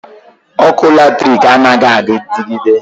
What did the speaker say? Ọkụ latrik anaghị adigide.